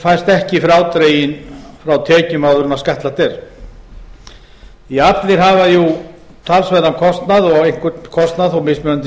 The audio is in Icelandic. fæst ekki frádreginn frá tekjum áður en skattlagt er því allir hafa jú talsverðan kostnað og einhvern kostnað þó mismunandi